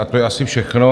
A to je asi všechno.